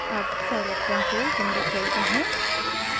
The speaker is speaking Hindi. अब scilab कंसोल विंडो खोलते हैं